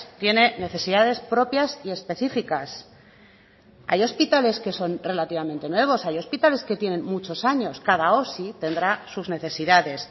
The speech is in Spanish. tiene necesidades propias y específicas hay hospitales que son relativamente nuevos hay hospitales que tienen muchos años cada osi tendrá sus necesidades